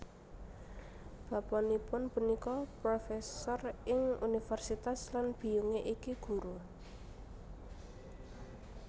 Bapanipun punika profesor ing Universitas lan biyunge iki guru